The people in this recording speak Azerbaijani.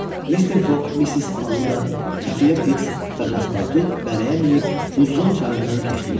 Mr. Foq, Missis Audə, Xəfiyyə Fiks və Paspartu bərəyə minib Hudzon çayından keçdilər.